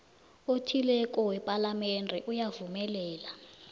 othileko wepalamende uyavumelana